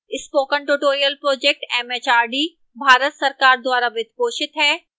spoken tutorial project mhrd Bharat सरकार द्वारा वित्त पोषित है